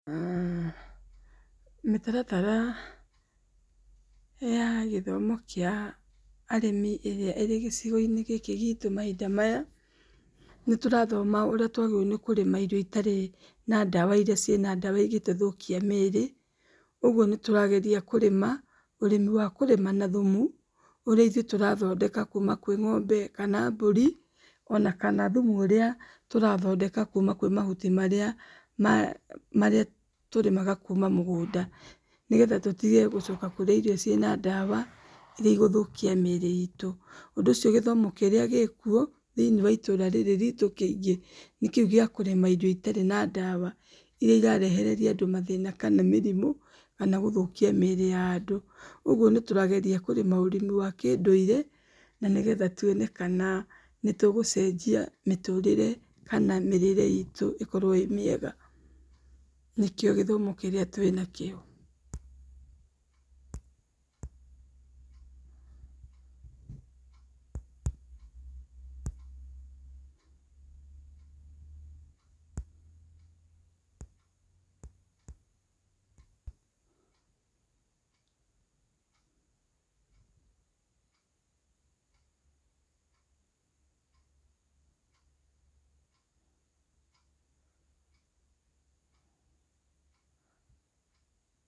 Mĩtaratara ya gĩthomo kĩa arĩmi ĩrĩa ĩrĩ gĩcigo-inĩ gĩkĩ gitũ mahinda maya, nĩ tũrathoma ũrĩa tũagĩrĩirwo kũrĩma irio itarĩ na ndawa iria igĩtũthũkia mĩrĩ. Ũguo nĩtũrageria kũrĩma ũrĩmi wa thumũ, ũrĩa ithũĩ tũrathondeka kuma kwĩ ng'ombe kana mbũri ona kana thumu ũrĩa tũrathondeka kuma kwĩ mahuti marĩa tũrĩma kuma kwĩ mũgũnda nĩgetha tũtige kũrĩa irio ciĩna ndawa iria igũthũkia mĩri itũ. Ũndũ ũcio gĩthomo kĩrĩa gĩkuo thĩini wa itũũra rĩrĩ ritũ kĩingĩ, nĩ kĩu kĩa kũrĩma irio itarĩ na ndawa iria irarehereria andũ mathĩna kana mĩrimũ kana gũthũkia mĩrĩ ya andũ. Ũguo nĩ tũrageria kũrĩma ũrĩmi wa kĩndũire na nĩgetha tũone kana nĩ tũgũcejia mĩtũrĩre na mĩrĩre ĩkorwo ĩ mĩega. Nĩkio gĩthomo kĩrĩa twĩ na kĩo.